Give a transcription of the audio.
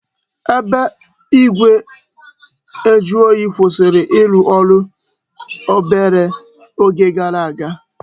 Ebe igwe njuoyi kwụsịrị ịrụ ọrụ obere oge gara aga